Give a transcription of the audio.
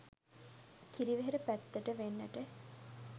කිරිවෙහෙර පැත්තට වෙන්නට